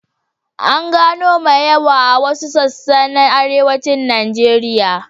An gano mai yawa a wasu sassa na Arewacin Najeriya.